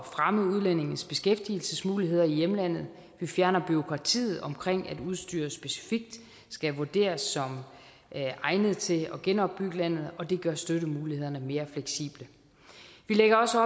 fremme udlændinges beskæftigelsesmuligheder i hjemlandet vi fjerner bureaukratiet omkring at udstyr specifikt skal vurderes som egnet til at genopbygge landet og det gør støttemulighederne mere fleksible vi lægger også